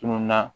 Tununna